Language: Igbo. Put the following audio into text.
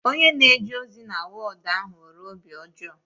Onye na-eje ozi na wọọdu ahụ nwere obi ọjọọ